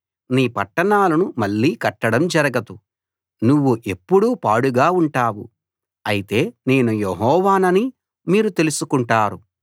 నీ పట్టణాలను మళ్ళీ కట్టడం జరగదు నువ్వు ఎప్పుడూ పాడుగా ఉంటావు అయితే నేను యెహోవానని మీరు తెలుసుకుంటారు